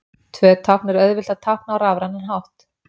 Tvö tákn er auðvelt að tákna á rafrænan hátt.